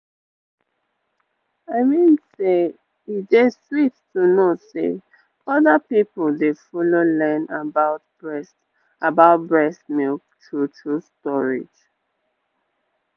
i mean say e dey sweet to know say other people dey follow learn about breast about breast milk true-true storage